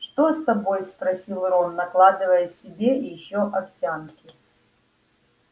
что с тобой спросил рон накладывая себе ещё овсянки